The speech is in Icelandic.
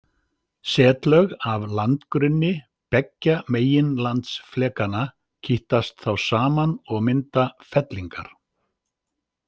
Setlög af landgrunni beggja meginlandsflekanna kýtast þá saman og mynda fellingar.